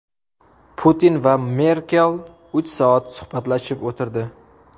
Putin va Merkel uch soat suhbatlashib o‘tirdi.